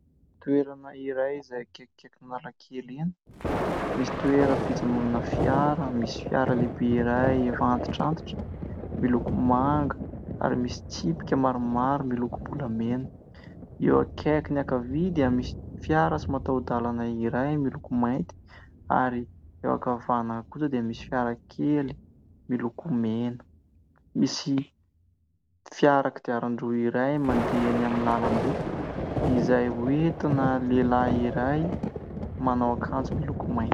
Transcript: Toerana iray izay akaikaiky lalan-kely iny misy toeram-pijanonana fiara. Misy fiara lehibe iray antitrantitra miloko manga ary misy tsipika maromaro milokom-bolamena eo akaikin'ny ankavia dia misy fiara tsy mataho-dalana iray miloko mainty ary eo ankavanana kosa dia misy fiarakely miloko mena ; misy fiara kodiaran-droa iray mandeha ny amin'ny lalambe izay hoentina lehilahy iray manao akanjo miloko mainty.